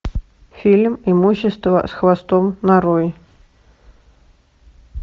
фильм имущество с хвостом нарой